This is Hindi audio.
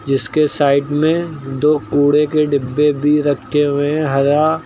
इसके साइड में दो कूड़े के डिब्बे भी रखे हुए है हरा--